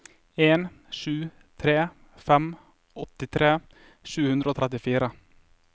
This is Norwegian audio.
en sju tre fem åttitre sju hundre og trettifire